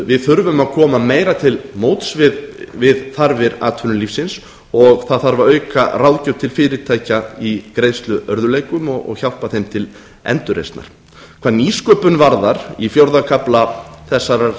við þurfum að koma meira til móts við þarfir atvinnulífsins og það þarf að auka ráðgjöf til fyrirtækja í greiðsluörðugleikum og hjálpa þeim til endurreisnar hvað nýsköpun varðar í fjórða kafla þessarar